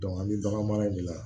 an bɛ bagan mara de la